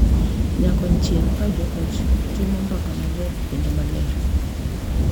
Nyakonchiel, ka jo ot timo mbaka maler kendo maler, .